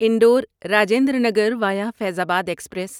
Indore Rajendra Nagar via Faizabad express